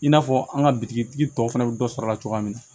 I n'a fɔ an ka bitigitigi tɔw fana bɛ dɔ sɔrɔ a la cogoya min na